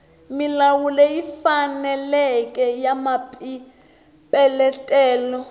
milawu leyi faneleke ya mapeletelo